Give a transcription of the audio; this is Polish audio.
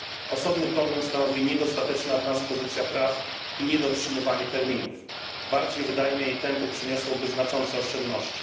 Osobny problem stanowi niedostateczna transpozycja praw i niedotrzymywanie terminów. Bardziej wydajne tempo transpozycji przyniosłoby znaczące oszczędności.